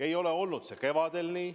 Ei olnud see ka kevadel nii.